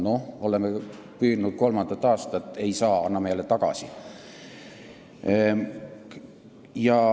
Noh, me oleme püüdnud kolmandat aastat, aga ei saa, anname aga jälle tagasi.